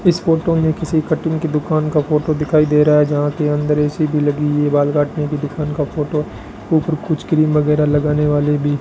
इस फोटो में किसी कटिंग की दुकान का फोटो दिखाई दे रहा है जहां के अंदर ए_सी भी लगी है बाल काटने की दुकान का फोटो ऊपर कुछ क्रीम वगैरा लगाने वाले भी --